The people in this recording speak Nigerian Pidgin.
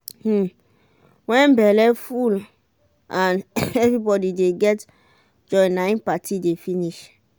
um when belle full and everybody de get joy nai party dey finish